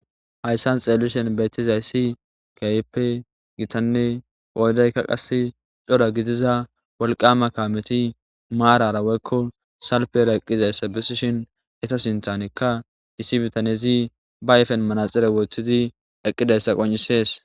hayssan xeellishen beetizayssi kayeppe gitanne oodaykka qas coda gidiza wolqama kaameti maarara woykko salpera eqqizayssa besishin eta sintanekka isi bitanezi ba ayfen manaxire woothizi eqqidayssa qon7isees